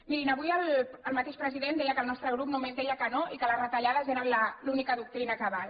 mirin avui el mateix president deia que el nostre grup només deia que no i que les retallades eren l’única doctrina que val